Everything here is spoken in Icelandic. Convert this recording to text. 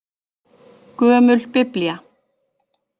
Gömul Biblía.